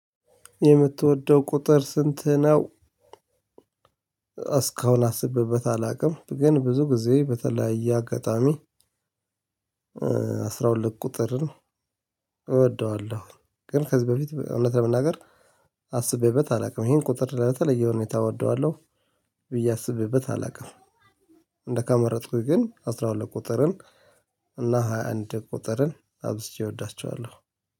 የምትወደው ቁጥር ስንት ነው? እስካሁን አስቤበት አላውቅም ግን ብዙ ጊዜ በተለያየ አጋጣሚ። አስራ ሁለት ቁጥርን እወደዋለሁ ግን ከዚህ በፊት እውነት ለመናገር አስቤበት አላውቅም ይሄን ቁጥር ለተለየ ሁኔታ እወደዋለሁ። ብዬ አስቤበት አላውቅም። እንደ ካመረጥኩኝ ግን አስራ ሁለት ቁጥርን እና ሃያ ሃያ አንድ ቁጥርን አብዝቼ እወዳቸዋለሁ።